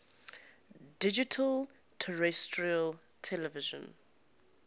digital terrestrial television